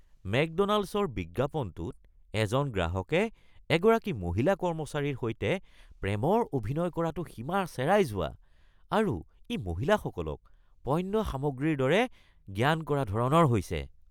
মেকড'নাল্ডছৰ বিজ্ঞাপনটোত এজন গ্ৰাহকে এগৰাকী মহিলা কৰ্মচাৰীৰ সৈতে প্ৰেমৰ অভিনয় কৰাটো সীমা চেৰাই যোৱা আৰু ই মহিলাসকলক পন্য সামগ্ৰীৰ দৰে জ্ঞান কৰা ধৰণৰ হৈছে।